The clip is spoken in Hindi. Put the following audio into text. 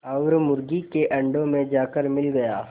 और मुर्गी के अंडों में जाकर मिल गया